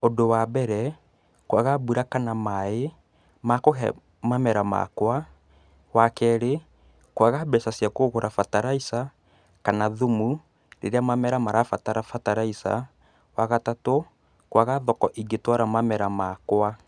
Ũndũ wa mbere, kwaga mbura kana maĩ makũhe mamera makwa, wa kerĩ, kwaga mbeca cia kugũra mbataraitha kana thumu rĩrĩra mamera marabatara mbataraitha, wa gatatu, kwaga thoko ingĩtwara mamera makwa.